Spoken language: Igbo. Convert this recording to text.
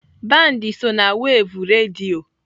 Band so na wev redio.